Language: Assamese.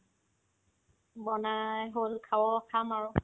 বনাই হ'ল খাও খাম আৰু